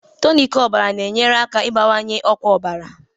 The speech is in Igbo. Tonic ọbara na-enyere aka ịbawanye ọkwa ọbara